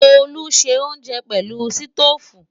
Tolú ń ṣe oúnjẹ pẹ̀lú sítóòfù